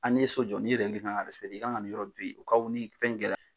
A n'i ye so jɔ nin kan ka i kan ka nin yɔrɔ in ni fɛn kɛla.